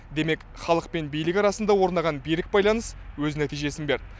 демек халық пен билік арасында орнаған берік байланыс өз нәтижесін берді